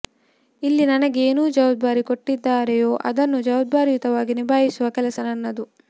ಇಲ್ಲಿ ನನಗೆ ಏನು ಜವಾಬ್ದಾರಿ ಕೊಟ್ಟಿದ್ದಾರೆಯೋ ಅದನ್ನು ಜವಾಬ್ದಾರಿಯುತವಾಗಿ ನಿಬಾಯಿಸುವ ಕೆಲಸ ನನ್ನದು